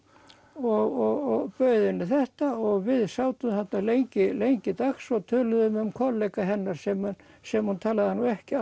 og bauð henni þetta og við sátum þarna lengi lengi dags og töluðum lengi um kollega hennar sem sem hún talaði nú ekki